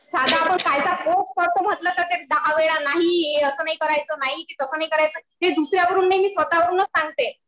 साधं आपण म्हणलं तरी दहा वेळा नाही तसं नाही करायचं नाही ते तसं नाही करायचं. हे दुसऱ्यांकडून नाही मी स्वतः वरूनच सांगते.